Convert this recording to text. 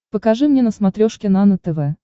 покажи мне на смотрешке нано тв